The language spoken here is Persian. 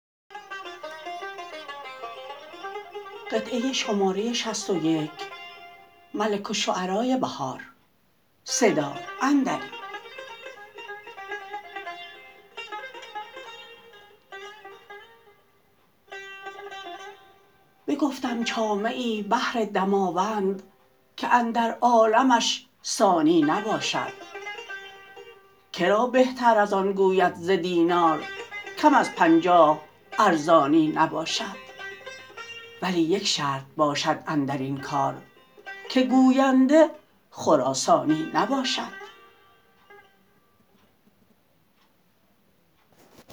بگفتم چامه ای بهر دماوند که اندر عالمش ثانی نباشد کرا بهتر از آن گوید ز دینار کم از پنجاه ارزانی نباشد ولی یک شرط باشد اندرین کار که گوینده خراسانی نباشد